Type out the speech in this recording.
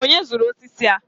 onye zụrụ osisi a?